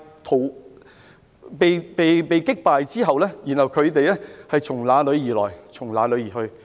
在被擊敗後，只好"從哪裏來，便從哪裏離去"。